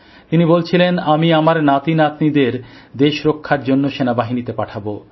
তিনি বলছিলেন আমি আমার নাতিনাতনিদের দেশ রক্ষার জন্য সেনাবাহিনীতে পাঠাব